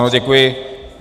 Ano, děkuji.